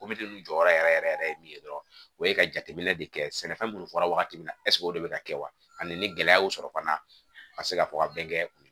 jɔyɔrɔ yɛrɛ yɛrɛ yɛrɛ ye min ye dɔrɔn o ye ka jateminɛ de kɛ sɛnɛfɛn minnu fɔra wagati min na o de bɛ ka kɛ wa ani ni gɛlɛya y'o sɔrɔ fana ka se ka fɔ ka bɛn kɛ